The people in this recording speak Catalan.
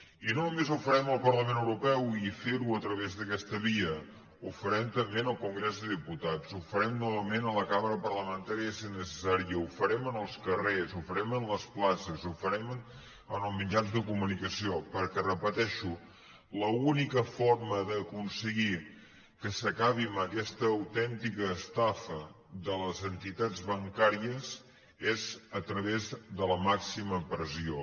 i no només ho farem al parlament europeu i fer·ho a través d’aquesta via ho farem també en el congrés de diputats ho farem novament a la cambra parlamentà·ria si és necessari ho farem en els carrers ho farem en les places ho farem en els mitjans de comunicació perquè ho repeteixo l’única forma d’aconseguir que s’acabi amb aquesta autèntica estafa de les entitats ban·càries és a traves de la màxima pressió